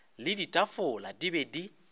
le ditafola di be di